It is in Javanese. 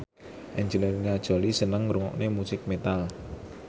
Angelina Jolie seneng ngrungokne musik metal